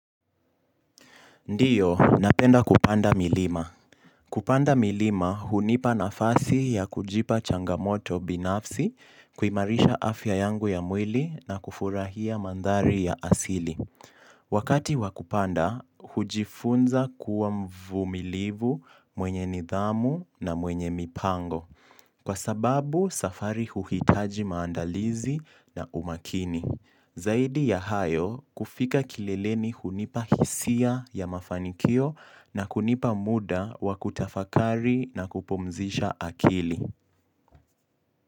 Ndiyo, napenda kupanda milima. Kupanda milima, hunipa nafasi ya kujipa changamoto binafsi, kuimarisha afya yangu ya mwili na kufurahia mandhari ya asili. Wakati wakupanda, hujifunza kuwa mvumilivu mwenye nidhamu na mwenye mipango. Kwa sababu, safari huhitaji maandalizi na umakini. Zaidi ya hayo kufika kileleni hunipa hisia ya mafanikio na kunipa muda wa kutafakari na kupumzisha akili.